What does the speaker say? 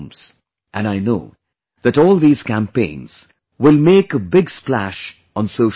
And I know that all these campaigns will make a big splash on social media